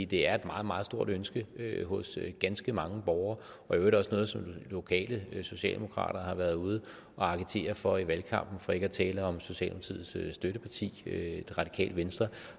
det er et meget meget stort ønske hos ganske mange borgere og i øvrigt også noget som lokale socialdemokrater har været ude at agitere for i valgkampen for ikke at tale om socialdemokratiets støtteparti det radikale venstre